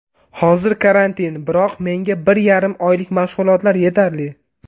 Hozir karantin, biroq menga bir yarim oylik mashg‘ulotlar yetarli.